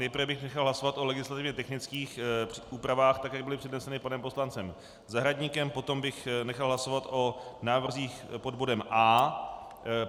Nejprve bych nechal hlasovat o legislativně technických úpravách, tak jak byly předneseny panem poslancem Zahradníkem, potom bych nechal hlasovat o návrzích pod bodem A.